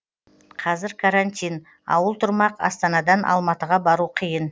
қазір карантин ауыл тұрмақ астанадан алматыға бару қиын